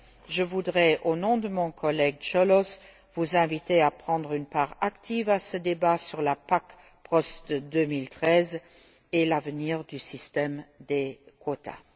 Je voudrais, au nom de mon collègue Cioloș, vous inviter à prendre une part active à ce débat sur la PAC post 2013 et l'avenir du système des quotas.